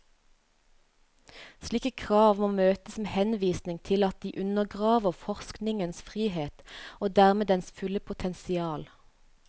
Slike krav må møtes med henvisning til at de undergraver forskningens frihet og dermed dens fulle potensial.